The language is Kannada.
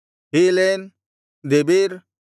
ಹೀಲೇನ್ ದೆಬೀರ್